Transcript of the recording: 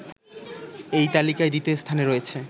এই তালিকায় দ্বিতীয় স্থানে রয়েছে